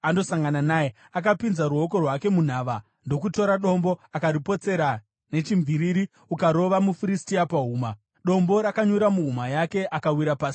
Akapinza ruoko rwake munhava ndokutora dombo, akaripotsera nechimviriri akarova muFiristia pahuma. Dombo rakanyura muhuma yake, akawira pasi nechiso chake.